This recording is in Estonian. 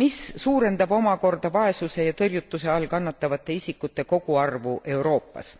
mis suurendab omakorda vaesuse ja tõrjutuse all kannatavate isikute koguarvu Euroopas.